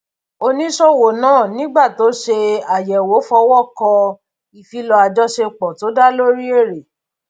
oníṣòwò náà nígbà tó ṣe àyẹwò fọwọ kọ ìfilọ ajọṣepọ tó dá lórí èrè